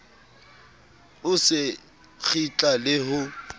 o se kgitla le ho